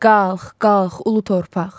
Qalx, qalx ulu torpaq.